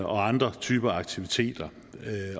og andre typer aktiviteter